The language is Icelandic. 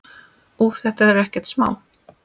Úff, þetta er ekkert smá.